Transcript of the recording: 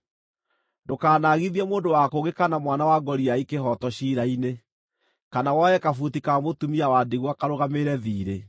Ndũkanaagithie mũndũ wa kũngĩ kana mwana wa ngoriai kĩhooto ciira-inĩ, kana woe kabuti ka mũtumia wa ndigwa karũgamĩrĩre thiirĩ.